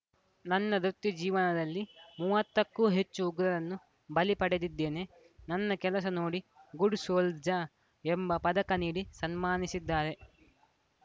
ನನ್ನ ವೃತ್ತಿ ಜೀವನದಲ್ಲಿ ಮೂವತ್ತಕ್ಕೂ ಹೆಚ್ಚು ಉಗ್ರರನ್ನು ಬಲಿ ಪಡೆದಿದ್ದೇನೆ ನನ್ನ ಕೆಲಸ ನೋಡಿ ಗುಡ್‌ ಸೋಲ್ಜರ್‌ ಎಂಬ ಪದಕ ನೀಡಿ ಸನ್ಮಾನಿಸಿದ್ದಾರೆ